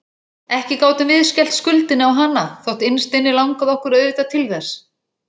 Ekki gátum við skellt skuldinni á hana, þótt innst inni langaði okkur auðvitað til þess.